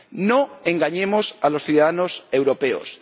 No engañemos a los ciudadanos europeos.